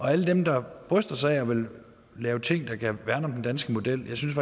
alle dem der bryster sig af at ville lave ting der kan værne om den danske model jeg synes